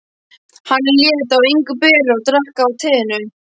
Hann lét á engu bera og drakk af teinu.